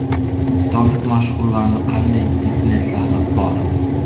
O‘zbekistonlik mashhurlarning qanday bizneslari bor?.